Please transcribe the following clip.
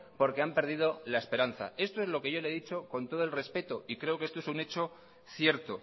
porque han perdido la esperanza esto es lo que yo le he dicho con todo el respeto y creo que esto es un hecho cierto